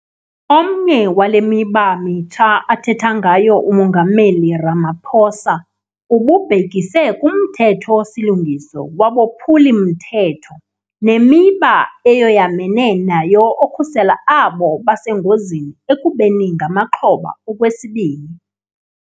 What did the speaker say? Omnye wale mithetho mitsha athetha ngayo uMongameli Ramaphosa ububhekise kuMthetho-silungiso waboPhuli-mthetho neMiba eyoyamene nayo okhusela abo basengozini ekubeni ngamaxhoba okwesibini.